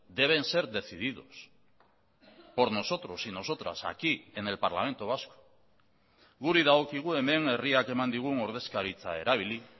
deben ser decididos por nosotros y nosotras aquí en el parlamento vasco guri dagokigu hemen herriak eman digun ordezkaritza erabili